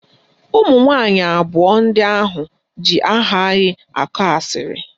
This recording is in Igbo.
Ụmụnwanyị abụọ ndị ahụ ji aha anyị akọ asịrị